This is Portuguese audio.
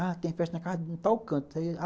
Ah, tem festa na casa de um tal canto.